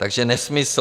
Takže nesmysl.